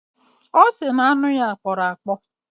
Ọ sị na anụ ya kpọrọ akpọ